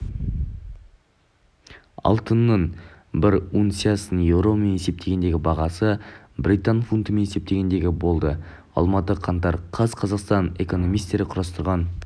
алтынның бір унциясының еуромен есептегендегі бағасы британ фунтымен есептегенде болды алматы қаңтар қаз қазақстан экономистері құрастырған